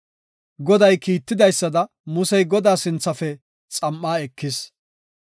Goday kiitidaysada Musey Godaa sinthafe xam7aa ekis.